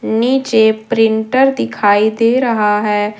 नीचे प्रिंटर दिखाई दे रहा है।